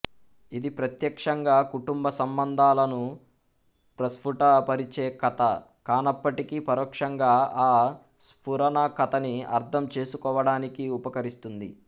ఇది ప్రత్యక్షంగా కుటుంబ సంబంధాలను ప్రస్ఫుటపరిచే కథ కానప్పటికీ పరోక్షంగా ఆ స్ఫురణ కథని అర్థం చేసుకోవడానికి ఉపకరిస్తుంది